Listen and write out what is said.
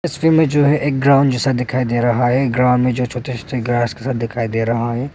तस्वीर में जो है एक ग्राउंड जैसा दिखाई दे रहा है ग्राउंड में छोटे छोटे घास जैसा दिखाई दे रहा है।